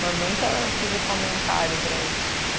Mas nunca fiz o comentário para ele.